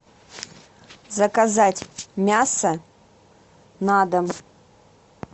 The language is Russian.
заказать мясо на дом